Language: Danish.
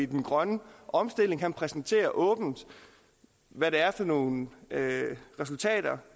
den grønne omstilling han præsenterer åbent hvad det er for nogle resultater